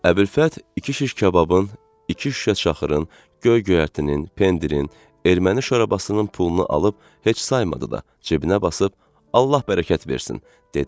Əbülfət iki şiş kababın, iki şüşə çaxırın, göy-göyərtinin, pendirin, erməni şorabasının pulunu alıb heç saymadı da, cibinə basıb "Allah bərəkət versin" dedi.